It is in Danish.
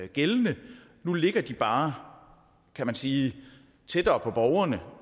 gældende nu ligger de bare kan man sige tættere på borgerne